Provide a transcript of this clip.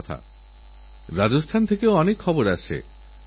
একজন মহিলা হিসেবেতাঁর পরিবারের জন্য আমার যথেষ্ট সমবেদনা আছে